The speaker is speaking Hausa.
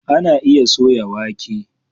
Ana iya soya wake.